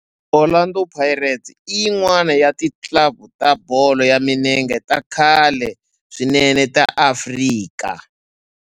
Orlando Pirates i yin'wana ya ti club ta bolo ya milenge ta khale swinene ta Afrika